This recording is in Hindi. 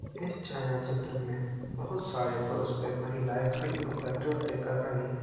इस छाया चित्र में बहुत सारी महिलाएं खड़ी होकर नृत्य कर रही है ।